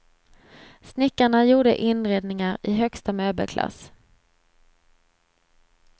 Snickarna gjorde inredningar i högsta möbelklass.